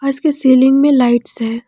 और इसके सीलिंग में लाइट्स है।